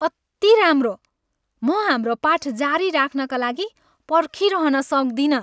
अति राम्रो! म हाम्रो पाठ जारी राख्नका लागि पर्खिरहन सक्दिनँ।